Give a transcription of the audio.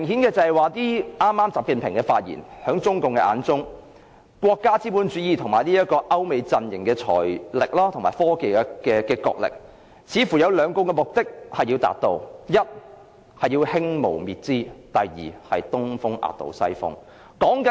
習近平的發言明確顯示，在中共的眼中，國家資本主義與歐美陣營的財力及科技角力，似乎要達到兩個目的：第一，是要"興無滅資"；第二，是"東風壓倒西風"。